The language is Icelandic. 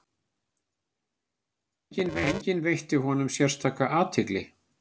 Enginn veitti honum sérstaka athygli.